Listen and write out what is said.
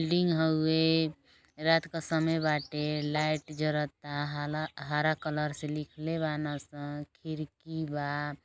Building हउवे। रात क समय बाटे। लाइट जरता। हला हरा कलर से लिखले बान सन। खिरकी बा।